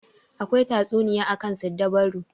Akwai tatsuniya akan siddabaru.